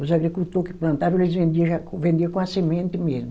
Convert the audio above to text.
Os agricultor que plantava, eles vendia já com, vendia com a semente mesmo.